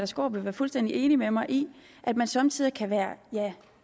skaarup vil være fuldstændig enig med mig i at man somme tider kan være